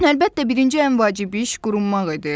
Əlbəttə, birinci ən vacib iş qurumaq idi.